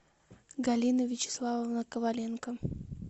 галина вячеславовна коваленко